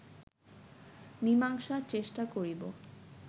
মীমাংসার চেষ্টা করিব